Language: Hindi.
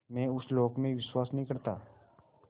मैं उस लोक में विश्वास नहीं करता